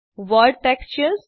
world textures